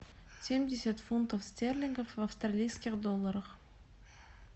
семьдесят фунтов стерлингов в австралийских долларах